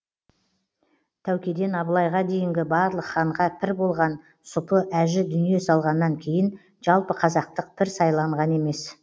тәукеден абылайға дейінгі барлық ханға пір болған сұпы әжі дүние салғаннан кейін жалпықазақтық пір сайланған емес